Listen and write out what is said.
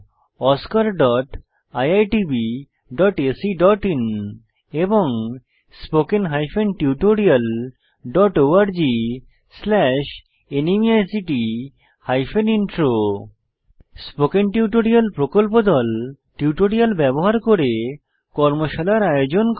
oscariitbacআইএন এবং spoken tutorialorgnmeict intro spoken tutorial প্রকল্প দল টিউটোরিয়াল ব্যবহার করে কর্মশালার আয়োজন করে